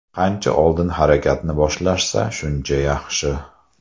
Qancha oldin harakatni boshlashsa shuncha yaxshi.